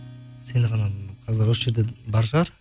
сен ғана қазір осы жерде бар шығар